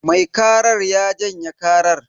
Mai karar ya janye karar.